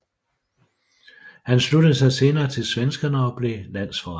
Han sluttede sig senere til svenskerne og blev landsforræder